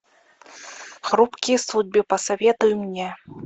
хрупкие судьбы посоветуй мне